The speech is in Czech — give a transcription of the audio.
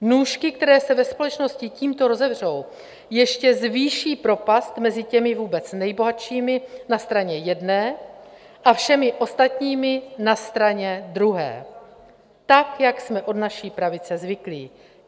Nůžky, které se ve společnosti tímto rozevřou, ještě zvýší propast mezi těmi vůbec nejbohatšími na straně jedné a všemi ostatními na straně druhé - tak, jak jsme od naší pravice zvyklí.